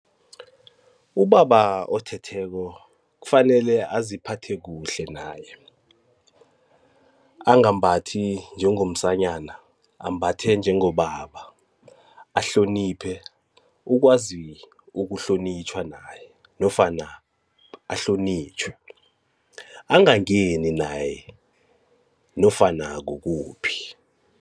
Ubaba othetheko kufanele aziphathe kuhle naye angambathi njengomsanyana, ambathe njengobaba ahloniphe ukwazi ukuhlonitjhwa naye nofana ahlonitjhwe angangeni naye nofana kukuphi.